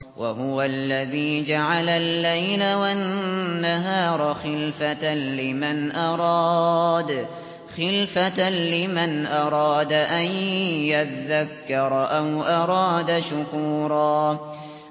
وَهُوَ الَّذِي جَعَلَ اللَّيْلَ وَالنَّهَارَ خِلْفَةً لِّمَنْ أَرَادَ أَن يَذَّكَّرَ أَوْ أَرَادَ شُكُورًا